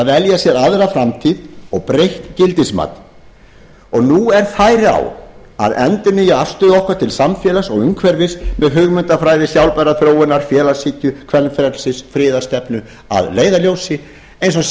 velja sér aðra framtíð og breytt gildismat nú er færi á að endurnýja afstöðu okkar til samfélags og umhverfis með hugmyndafræði sjálfbærrar þróunar félagshyggju kvenfrelsis friðarstefnu að leiðarljósi eins a